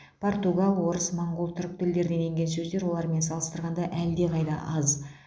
португал орыс моңғол түрік тілдерінен енген сөздер олармен салыстырғанда әлдеқайда аз